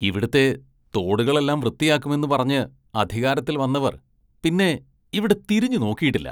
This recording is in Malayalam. ഇവിടുത്തെ തോടുകളെല്ലാം വൃത്തിയാക്കുമെന്ന് പറഞ്ഞ് അധികാരത്തില്‍ വന്നവര്‍ പിന്നെ ഇവിടെ തിരിഞ്ഞുനോക്കിയിട്ടില്ല.